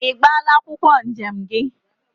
I gbala akwokwo njem gi?